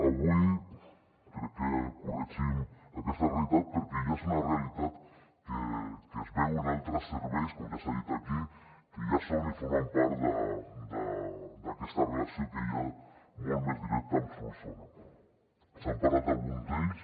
avui crec que corregim aquesta realitat perquè ja és una realitat que es veu en altres serveis com ja s’ha dit aquí que ja formen part d’aquesta relació que hi ha molt més directa amb solsona s’ha parlat d’algun d’ells